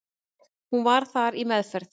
Hún var þar í meðferð.